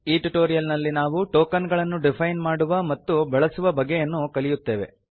ಈ ಟ್ಯುಟೋರಿಯಲ್ ನಲ್ಲಿ ನಾವು ಟೋಕನ್ ಗಳನ್ನು ಡಿಫೈನ್ ಮಾಡುವ ಮತ್ತು ಬಳಸುವ ಬಗೆಯನ್ನು ಕಲಿಯುತ್ತೇವೆ